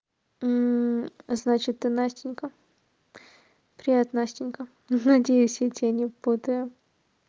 значит ты настенька привет настенька ну надеюсь я тебя не путаю